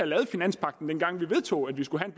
lavet finanspagten dengang vi vedtog at vi skulle have